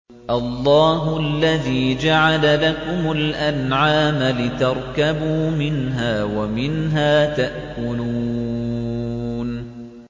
اللَّهُ الَّذِي جَعَلَ لَكُمُ الْأَنْعَامَ لِتَرْكَبُوا مِنْهَا وَمِنْهَا تَأْكُلُونَ